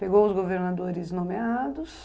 Pegou os governadores nomeados.